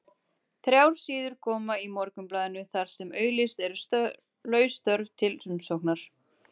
Þrjár síður koma í Morgunblaðinu þar sem auglýst eru laus störf til umsóknar.